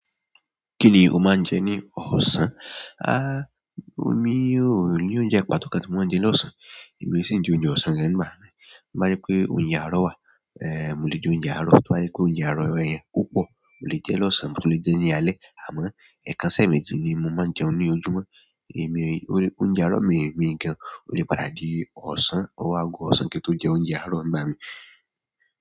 Kíni o máa ń jẹ ní ọ̀sán? Háá, omi ò ní oúnjẹ pàtó kan tí mo máa ń jẹ lọ́sàn-án. Èmi òó sì ń jẹ oúnjẹ ọ̀sán gan ńgbà míì. Tó bá jẹ́ pé oúnjẹ àárọ̀ wà, ẹ́, mo lè jẹ oúnjẹ àárọ̀. Tó bá jẹ́ pé oúnjẹ àárọ̀ yẹn ó pọ̀, mo lè jẹ ẹ́ lọ́sàn-án mo tún lè jẹ ní alé. Àmọ́, ẹ̀kan sẹ́ẹ̀mẹ́jì ni mo máa ń jẹun ní ojúmọ́. Èmi, oúnjẹ àárọ̀ mi ò ní gan-an. Ó lè padà di ọ̀sán, ọwọ́ ago ọ̀sán kí n tó jẹ oúnjẹ àárọ̀ ń bá mi.